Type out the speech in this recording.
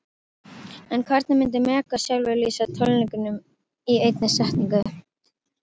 En hvernig myndi Megas sjálfur lýsa tónleikunum í einni setningu?